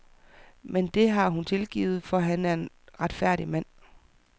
Men det har hun tilgivet, for han er en retfærdig mand.